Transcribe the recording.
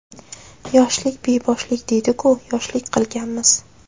Yoshlik beboshlik deydi-ku, yoshlik qilganmiz.